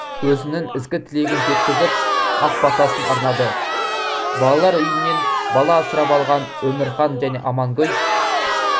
өзінің ізгі тілегін жеткізіп ақ батасын арнады балалар үйінен бала асырап алған өмірхан және амангүл